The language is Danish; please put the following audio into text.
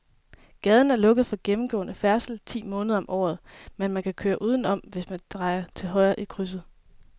Gaden er lukket for gennemgående færdsel ti måneder om året, men man kan køre udenom, hvis man drejer til højre i krydset.